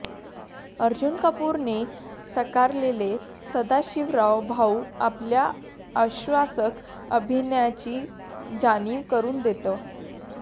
अर्जुन कपूरने साकारलेला सदाशिवराव भाऊ आपल्या आश्वासक अभिनयाची जाणीव करुन देतो